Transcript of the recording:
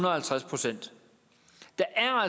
og halvtreds procent der er